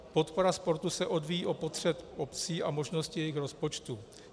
Podpora sportu se odvíjí od potřeb obcí a možností jejich rozpočtu.